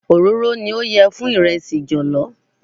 Òróró ni ó yẹ fún ìrẹsì jọ̀lọ́.